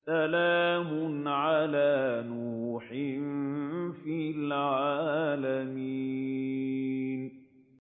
سَلَامٌ عَلَىٰ نُوحٍ فِي الْعَالَمِينَ